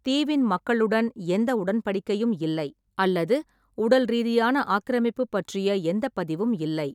தீவின் மக்களுடன் எந்த உடன்படிக்கையும் இல்லை அல்லது உடல் ரீதியான ஆக்கிரமிப்பு பற்றிய எந்த பதிவும் இல்லை.